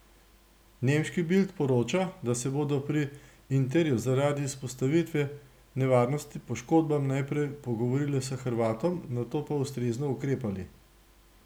Nemški Bild poroča, da se bodo pri Interju zaradi izpostavitve nevarnosti poškodbam najprej pogovorili z Hrvatom, nato pa ustrezno ukrepali.